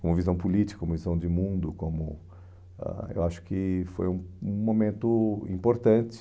como visão política, como visão de mundo, como... ãh Eu acho que foi um um momento importante.